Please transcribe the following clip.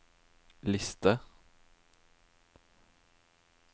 liste